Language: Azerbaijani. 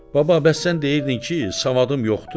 Baba, bəs sən deyirdin ki, savadım yoxdur?